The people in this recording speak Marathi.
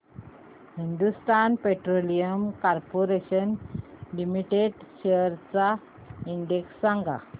Hindustan petroleum corporation limited shares चा इंडेक्स सांगा